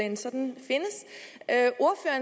en sådan